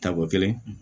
Tako kelen